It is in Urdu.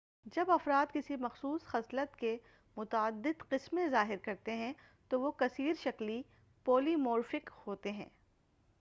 جب افراد کسی مخصوص خصلت کے متعدد قسمیں ظاہر کرتے ہیں تو وہ کثِير شَکلی پولی مورفک ہوتے ہیں-